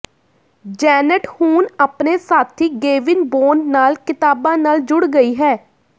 Janet ਹੁਣ ਆਪਣੇ ਸਾਥੀ ਗੇਵਿਨ ਬੋਨ ਨਾਲ ਕਿਤਾਬਾਂ ਨਾਲ ਜੁੜ ਗਈ ਹੈ